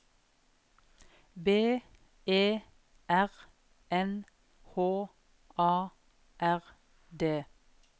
B E R N H A R D